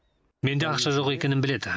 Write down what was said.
менде ақша жоқ екенін біледі